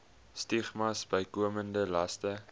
stigmas bykomende laste